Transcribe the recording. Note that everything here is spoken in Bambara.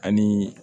Ani